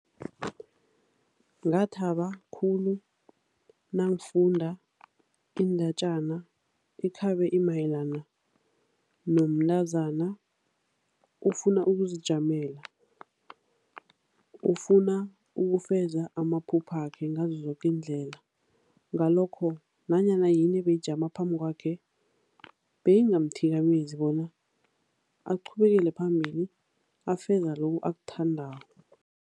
Ngathaba khulu nangifunda iindatjana ekhabe imayelana nomntazana, ufuna ukuzijamela. Ufuna ukufeza amaphuphakhe ngazo zoke iindlela ngalokho nanyana yini ebeyijama phambi kwakhe, beyingamthikamezi bona aqhubekele phambili, afeze loku akuthandako.